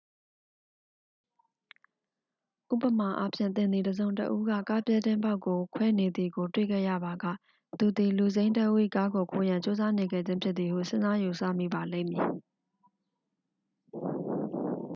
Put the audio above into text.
ဥပမာအားဖြင့် သင်သည် တစ်စုံတစ်ဦးက ကားပြတင်းပေါက်ကိုခွဲနေသည်ကို တွေ့ခဲ့ရပါက သူသည် လူစိမ်းတစ်ဦး၏ကားကိုခိုးရန် ကြိုးစားနေခဲ့ခြင်းဖြစ်သည်ဟု စဉ်းစားယူဆမိပါလိမ့်မည်